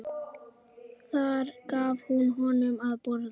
Þar gaf hún honum að borða.